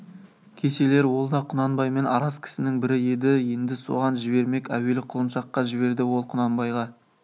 кешелер ол да құнанбаймен араз кісінің бірі еді енді соған жібермек әуелі құлыншаққа жіберді ол құнанбайға